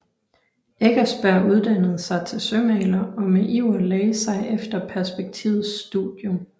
Eckersberg uddannede sig til sømaler og med iver lagde sig efter perspektivets studium